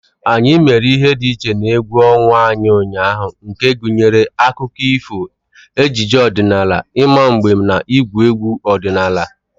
Anyị mere ihe dị iche n'egwu ọnwa anyị ụnyaahụ nke gụnyere akụkọ ifo, ejije ọdịnala, ịma mbem, na ịgwu egwu ọdinala.